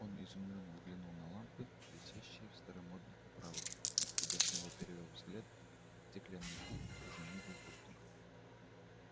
он изумлённо взглянул на лампы висящие в старомодных оправах а когда снова перевёл взгляд стеклянный куб уже не был пустым